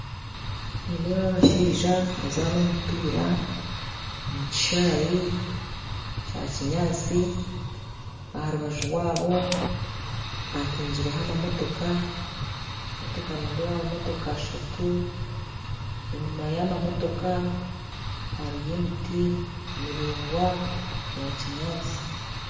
Nindeeba abashaija nibazaana omupiira omu kishaayi kya kinyaatsi aha rubaju rwaabo hapakingireho amamotoka, amamotoka nindeebaho amamotoka ashatu enyima y'amamotoka hariyo emiti miraingwa ya kinyaatsi